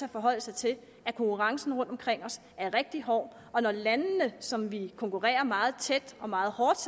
at forholde sig til at konkurrencen rundt omkring os er rigtig hård og når landene som vi konkurrerer meget tæt og meget hårdt